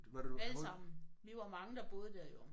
Alle sammen! Vi var mange der boede der jo